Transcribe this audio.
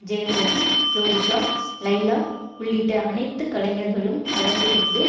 ஜெயம் ரவி ஜோதிகா லைலா உள்ளிட்ட அனைத்து கலைஞர்களும் கலந்து கொண்டு